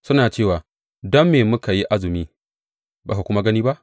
Suna cewa, Don me muka yi azumi, ba ka kuma gani ba?